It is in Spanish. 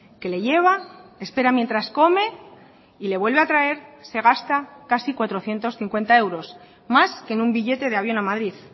que le lleva espera mientras come y le vuelve a traer se gasta casi cuatrocientos cincuenta euros más que en un billete de avión a madrid